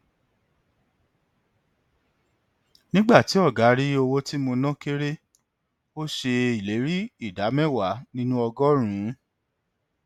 nígbà tí ọgá rí owó tí mo ná kère ó ṣe ìlérí ìdá mẹwàá nínú ọgọrùnún